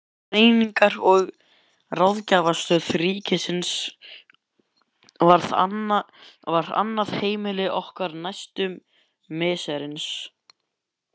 Greiningar- og ráðgjafarstöð ríkisins varð annað heimili okkar næstu misserin.